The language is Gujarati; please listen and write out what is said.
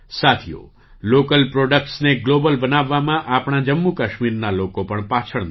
સાથીઓ લૉકલ પ્રૉડક્ટ્સને ગ્લૉબલ બનાવવામાં આપણા જમ્મુ કાશ્મીરના લોકો પણ પાછળ નથી